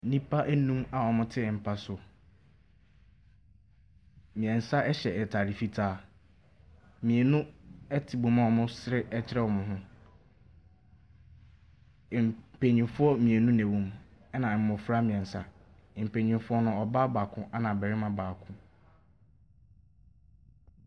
Nnipa ɛnnum a wɔn ɛte mpa so. Mmiɛnsa ɛhyɛ ntaade fitaa. Mmienu ɛte bɔ mu a wɔn resere ɛkyerɛ wɔn ho. Mpanimfoɔ mmienu na ɛwɔ mu ɛna mmɔfra mmiɛnsa. Mpanimfoɔ no, ɔbaa baako ɛna barima baako.